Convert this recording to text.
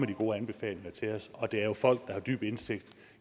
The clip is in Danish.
de gode anbefalinger til os det er jo folk der har dyb indsigt